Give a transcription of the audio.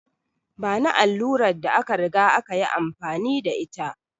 Bani allurar da aka riga aka yi amfani da ita!